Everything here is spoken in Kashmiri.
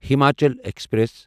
ہماچل ایکسپریس